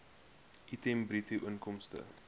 item bruto inkomste